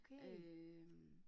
Øh